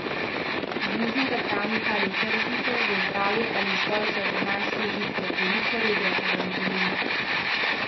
Z bližnjega travnika ali tržnice, za zdravje ali zgolj za gurmanske užitke, veliko regrata vam želim!